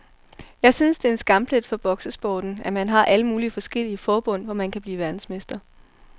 Jeg synes det er en skamplet for boksesporten, at man har alle mulige forskellige forbund, hvor man kan blive verdensmester.